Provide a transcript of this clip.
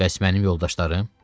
Bəs mənim yoldaşlarım?